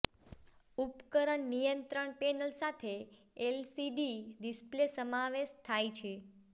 ઉપકરણ નિયંત્રણ પેનલ સાથે એલસીડી ડિસ્પ્લે સમાવેશ થાય છે